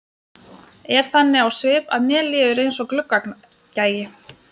Er þannig á svip að mér líður eins og gluggagægi.